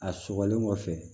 A sɔgɔlen kɔfɛ